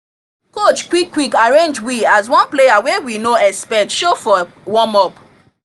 coach quick quick arrange we as one player wey we no expect show for warm up